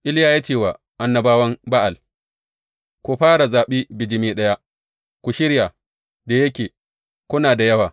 Iliya ya ce wa annabawan Ba’al, Ku ku fara zaɓi bijimi ɗaya, ku shirya, da yake kuna da yawa.